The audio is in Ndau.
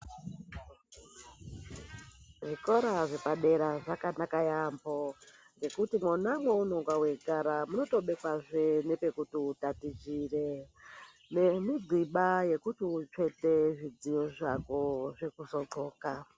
Zvikora zvepadera zvakanaka yaamho ngekuti mwona mweunenge weigara munotobekwazve nepekuti utatichire nemigxiba yekuti utsvete zvidziyo zvako zvekuti uzodxoka.